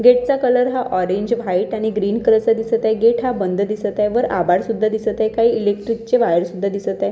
Gate चा colour हा orange white आणि ग्रीन कलर चा दिसत आहे गेट हा बंद दिसत आहे वर आभाळ सुद्धा दिसत आहे काही इलेक्ट्रिक ची वायर सुद्धा दिसत आहेत.